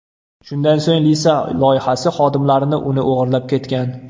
Shundan so‘ng Lisa loyihasi xodimlarini uni o‘g‘irlab ketgan.